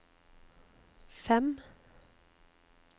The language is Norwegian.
fem